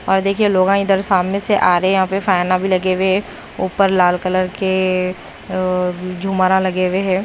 और देखिए लोगां इधर सामने से आ रहे हैं यहां पे फैना भी लगे हुए हैं ऊपर लाल कलर के अ झुमरा लगे हुए हैं।